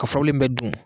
Ka furabulu in bɛɛ dun